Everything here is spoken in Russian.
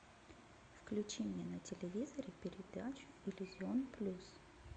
включи мне на телевизоре передачу иллюзион плюс